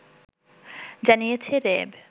জানিয়েছে র‌্যাব